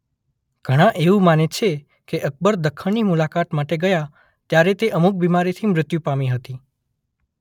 ઘણા એવું માને છે કે અકબર દખ્ખણની મુલાકાત માટે ગયા ત્યારે તે અમુક બીમારીથી મૃત્યુ પામી હતી.